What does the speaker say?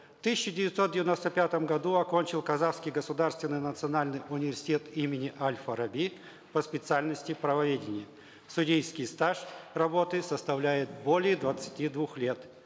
в тысяча девятьсот девяносто пятом году окончил казахский государственный национальный университет имени аль фараби по специальности правоведение судейский стаж работы составляет более двадцати двух лет